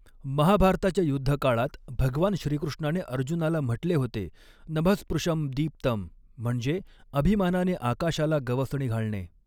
महाभारताच्या युद्धकाळात भगवान श्रीकृष्णाने अर्जुनाला म्हटले होते नभः स्पृशं दीप्तम् म्हणजे अभिमानाने आकाशाला गवसणी घालणे.